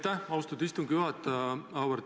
Aitäh, austatud istungi juhataja!